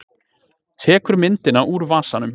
Tekur myndina úr vasanum.